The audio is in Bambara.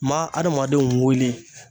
Ma adamadenw wele.